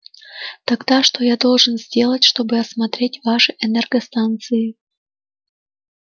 тогда что я должен сделать чтобы осмотреть ваши энергостанции